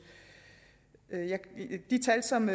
de tal som